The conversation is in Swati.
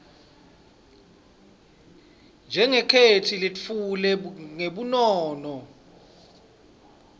njengetheksthi letfulwe ngebunono